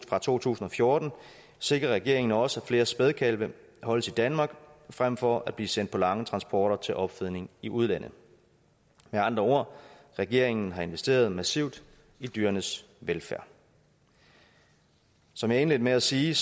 fra to tusind og fjorten sikrer regeringen også at flere spædekalve holdes i danmark frem for at blive sendt på lange transporter til opfedning i udlandet med andre ord regeringen har investeret massivt i dyrenes velfærd som jeg indledte med at sige